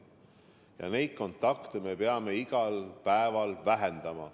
Ja neid kontakte me peame iga päev vähendama.